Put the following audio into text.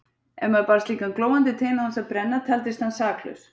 Ef maður bar slíkan glóandi tein án þess að brenna taldist hann saklaus.